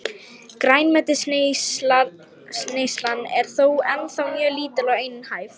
Grænmetisneyslan er þó ennþá mjög lítil og einhæf.